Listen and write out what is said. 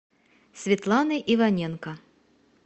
светланы иваненко